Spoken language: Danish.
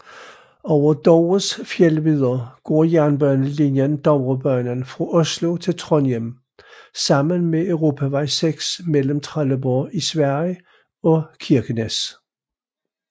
Over Dovres fjeldvidder går jernbanelinjen Dovrebanen fra Oslo til Trondheim sammen med Europavej 6 mellem Trelleborg i Sverige og Kirkenes